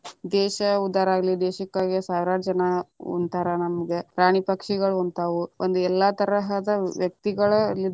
ದೇಶ ಉದ್ಧರಾಗಲಿ ದೇಶಕ್ಕಾಗಿ ಸಾವಿರಾರ ಜನಾ ಉಣ್ತಾರ ನಮಗ ಪ್ರಾಣಿ ಪಕ್ಷಿಗಳು ಉಣ್ತಾವ ಒಂದು ಎಲ್ಲಾ ತರಹದ ವ್ಯಕ್ತಿಗಳಲ್ಲಿದ್ದ.